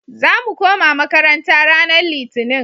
Za mu koma makaranta ranan Litinin.